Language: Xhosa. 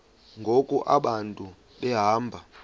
ngoku abantu behamba